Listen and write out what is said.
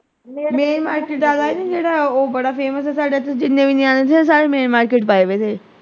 main market ਆਲਾ ਨਹੀਂ ਜਿਹੜਾ ਉਹ ਬੜਾ famous ਏ ਸਾਡੇ ਇਥੇ ਜਿੰਨੇ ਵੀ ਨਿਆਣੇ ਸੀ ਨਾ ਸਾਰੇ main market ਪਾਏ ਹੋਏ ਸੀ।